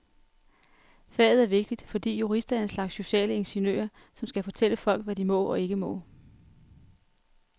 Faget er vigtigt, fordi jurister er en slags sociale ingeniører, som skal fortælle folk, hvad de må og ikke må.